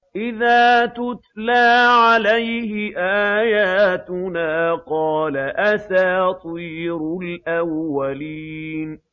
إِذَا تُتْلَىٰ عَلَيْهِ آيَاتُنَا قَالَ أَسَاطِيرُ الْأَوَّلِينَ